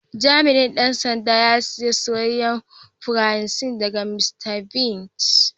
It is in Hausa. Jami'in Dan sanda ya saya soyayen fransi daga Mr.biggs.